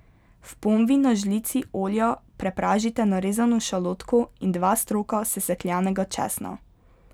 V ponvi na žlici olja prepražite narezano šalotko in dva stroka sesekljanega česna.